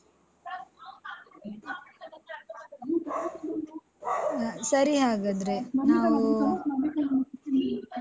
ಆ ಸರಿ ಹಾಗಾದ್ರೆ ನಾವು.